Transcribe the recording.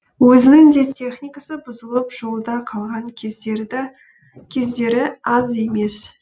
өзінің де техникасы бұзылып жолда қалған кездері аз емес